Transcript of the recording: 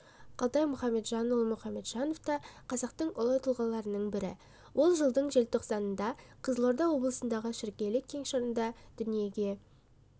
қалтай мұхамеджанұлы мұхамеджанов та қазақтың ұлы тұлғаларының бірі ол жылдың желтоқсанында қызылорда облысындағы шіркейлі кеңшарында дүниеге